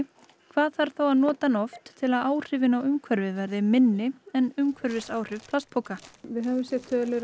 hvað þarf að nota hann oft til að áhrifin á umhverfið verði minni en umhverfisáhrif plastpoka við höfum séð tölur